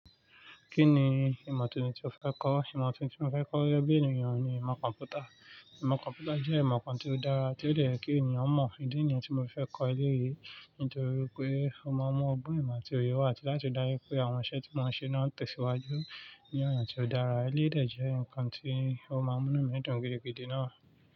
Kí ni ìmọ̀ tuntun tí o fẹ́ kọ́? Ìmọ̀ tuntun tí mo fẹ́ kọ́ ni ẹbí ènìyàn ni ìmọ̀ kọ̀m̀pútà. Ìmọ̀ kọ̀m̀pútà jẹ́ ìmọ̀ kan tí ó dára, tí ó le è kí ènìyàn mọ̀. Ìdí nìyẹn tí mo fi fẹ́ kọ́ eléyìí, nítorí pé ó máa mú ọgbọ́n ìmọ̀ tí óyẹ wà àti láti rí dájú pé àwọn iṣẹ́ tí mọ́n ṣe náà ń tẹ̀síwájú ní ọ̀nà tí ó dára. Eléèdè jẹ́ nǹkan tí ó máa mú inú mi dùn gidigidi náà.